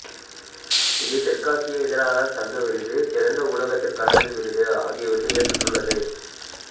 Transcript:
இது தெற்காசிய இதழாளர் சங்க விருது சிறந்த ஊடகத்திற்கான விருது ஆகிய விருதுகளைப் பெற்றுள்ளது